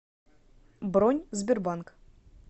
бронь сбербанк